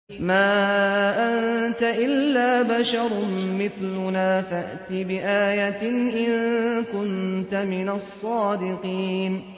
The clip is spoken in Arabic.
مَا أَنتَ إِلَّا بَشَرٌ مِّثْلُنَا فَأْتِ بِآيَةٍ إِن كُنتَ مِنَ الصَّادِقِينَ